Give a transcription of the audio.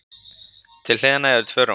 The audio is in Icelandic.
Til hliðanna eru tvö rúm.